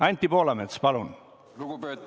Anti Poolamets, palun!